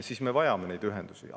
Seega me vajame neid ühendusi.